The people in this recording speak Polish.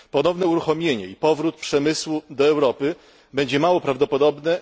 Ponowne uruchomienie i powrót przemysłu do Europy będzie mało prawdopodobne.